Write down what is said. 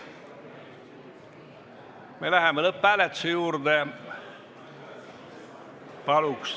Me läheme lõpphääletuse juurde.